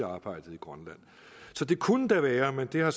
arbejdet i grønland så det kunne da være men det har